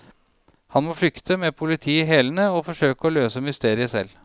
Han må flykte, med politiet i hælene, og forsøke å løse mysteriet selv.